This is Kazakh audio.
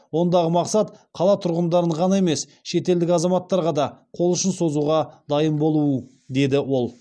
ондағы мақсат қала тұрғындарын ғана емес шетелдік азаматтарға да қол ұшын созуға дайын болу деді ол